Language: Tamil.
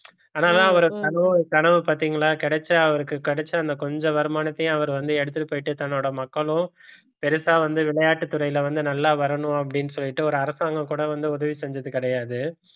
அவரை கனவு கனவு பார்த்தீங்களா கிடைச்சா அவருக்கு கிடைச்ச அந்த கொஞ்ச வருமானத்தையும் அவர் வந்து எடுத்துட்டு போயிட்டு தன்னோட மக்களோ பெருசா வந்து விளையாட்டுத்துறையில வந்து நல்லா வரணும் அப்படின்னு சொல்லிட்டு ஒரு அரசாங்கம் கூட வந்து உதவி செஞ்சது கிடையாது